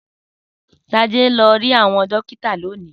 Sade lọ rí àwọn dókítà lónìí.